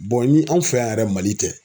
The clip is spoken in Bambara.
ni anw fɛ yan yɛrɛ MALI tɛ.